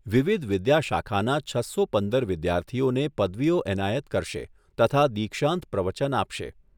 વિવિધ વિદ્યાશાખાના છસો પંદર વિદ્યાર્થીઓને પદવીઓ એનાયત કરશે, તથા દિક્ષાંત પ્રવચન આપશે.